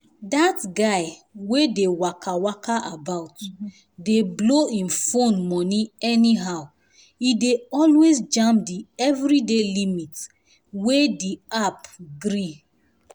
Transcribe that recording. that guy wey dey um waka waka about dey blow him phone money anyhow e dey always jam the everyday limit wey um the app gree.